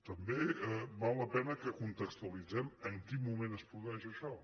també val la pena que contextualitzem en quin moment es produeix això